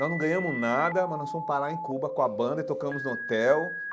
Nós não ganhamos nada, mas nós fomos parar em Cuba com a banda e tocamos no hotel.